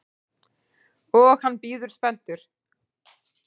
Og hann bíður spenntur.